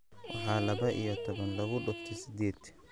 waxa laba iyo toban lagu dhufto siddeed